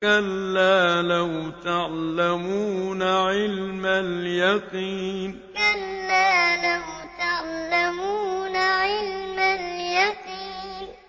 كَلَّا لَوْ تَعْلَمُونَ عِلْمَ الْيَقِينِ كَلَّا لَوْ تَعْلَمُونَ عِلْمَ الْيَقِينِ